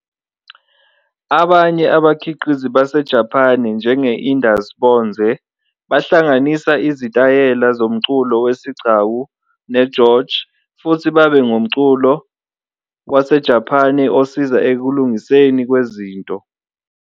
Abanye abakhiqizi baseJapane njenge-Indus Bonze, bahlanganisa izitayela somculo wesigcawu ne-"gorge", futhi babe ngumculo waseJapane osiza ekulungiseni kwezinto.